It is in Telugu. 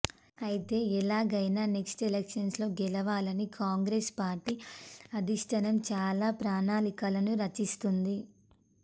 అయితే ఎలాగైనా నెక్స్ట్ ఎలక్షన్స్ లో గెలవాలని కాంగ్రెస్ పార్టీ అధిష్టానం చాలా ప్రణాళికలను రచిస్తోంది